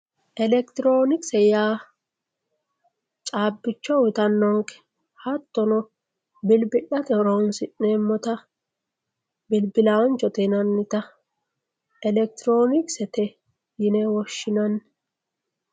Elekitironikise yaa caabbicho uuyitanonke hatono bilibilatte horonsi'neemotta bilibilanchote yinanitta elekitironkisete yine woshinanni.